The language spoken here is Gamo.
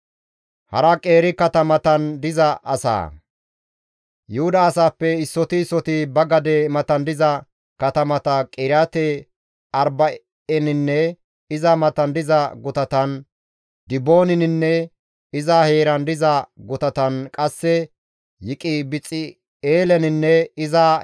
Yuhuda asaappe issoti issoti ba gade matan diza katamata Qiriyaate-Arba7eninne iza matan diza gutatan, Dibooninne iza heeran diza gutatan qasse Yiqibixe7eeleninne iza heeran diza gutatan uttida.